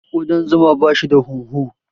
Ƙudan zuma bashi da hunhu.